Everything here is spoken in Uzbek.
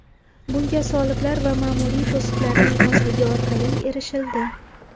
Bunga soliqlar va ma’muriy to‘siqlarning ozligi orqali erishildi.